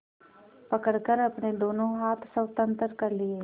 पकड़कर अपने दोनों हाथ स्वतंत्र कर लिए